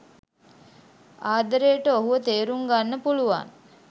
ආදරයට ඔහුව තේරුම් ගන්න පුළුවන්